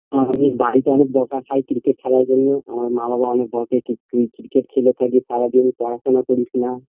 আমি বাড়িতে অনেক বকা খাই ক্রিকেট খেলার জন্য আমার মা বাবা অনেক বকে ক্রি ক্রিকেট খেলে খালি সারাদিন যায় পড়াশোনা করিসনা